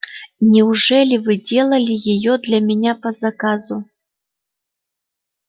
неужели вы делали её для меня по заказу